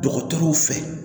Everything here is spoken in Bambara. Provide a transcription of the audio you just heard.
Dɔgɔtɔrɔw fɛ